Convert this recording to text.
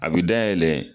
A bɛ dayɛlɛ